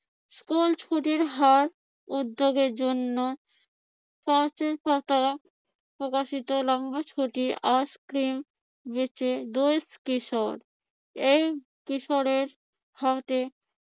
School ছুটির হার উদ্যোগের জন্য গাছের পাতা প্রকাশিত লম্বা ছুটি আইসক্রিম বেচে কিশোর। এই কিশোরের হাতে